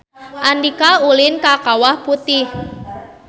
Andika ulin ka Kawah Putih